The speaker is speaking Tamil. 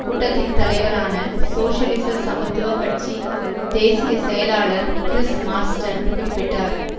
கூட்டத்தின் தலைவரான சோசியலிச சமத்துவ கட்சி தேசிய செயலாளர் கிறிஸ் மார்ஸ்டன் குறிப்பிட்டார்